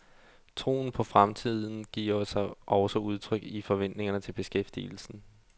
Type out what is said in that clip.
Troen på fremtiden giver sig også udtryk i forventningerne til beskæftigelsen.